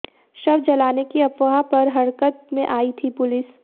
शव जलाने की अफवाह पर हरकत में आई थी पुलिस